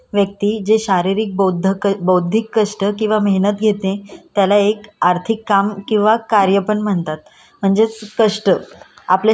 कष्ट आपल्या शरीरात शरीराची जी पण हालचाल करतो कष्टाने काम करतो. त्याला कष्टस म्हणजे श्रम असे म्हणतात.